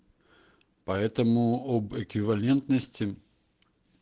поэтому об эквивалентности